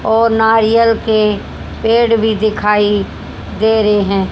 और नारियल के पेड़ भी दिखाई दे रहे है।